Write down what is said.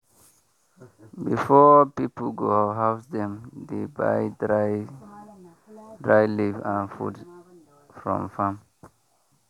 before people go house dem dey buy dry dry leaf and food from farm.